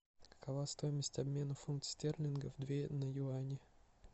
какова стоимость обмена фунта стерлингов две на юани